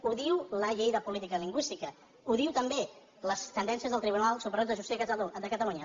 ho diu la llei de política lingüística ho diuen també les sentències del tribunal superior de justícia de catalunya